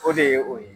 O de ye o ye